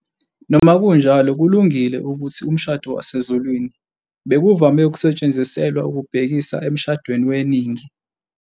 Noma kunjalo, kulungile ukuthi "umshado wasezulwini" bekuvame ukusetshenziselwa ukubhekisa emshadweni weningi.